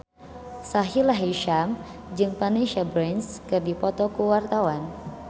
Sahila Hisyam jeung Vanessa Branch keur dipoto ku wartawan